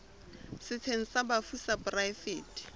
setsheng sa bafu sa poraefete